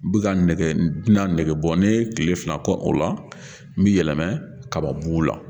N bɛ ka bina nɛgɛ bɔ ni ye tile fila kɔ o la, n bɛ yɛlɛma kabamugu la.